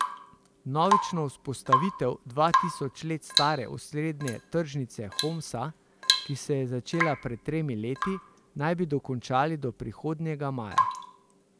Vnovično vzpostavitev dva tisoč let stare osrednje tržnice Homsa, ki se je začela pred tremi leti, naj bi dokončali do prihodnjega maja.